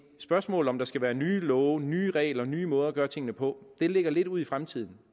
spørgsmålet om der skal være nye love nye regler nye måder at gøre tingene på ligger lidt ud i fremtiden